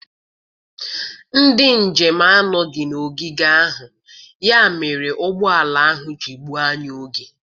Ndị njem anọghị n'ogige ahụ, ya mere ụgbọ ala ahụ ji gbuo anyị oge.